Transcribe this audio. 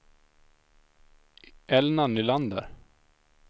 Elna Nylander